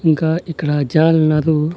ఇంకా ఇక్కడ జనాలున్నారు.